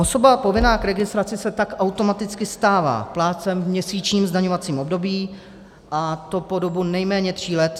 Osoba povinná k registraci se tak automaticky stává plátcem v měsíčním zdaňovacím období, a to po dobu nejméně tří let.